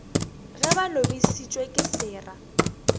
ge ba lobišitšwe ke sera